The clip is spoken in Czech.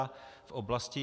a v oblasti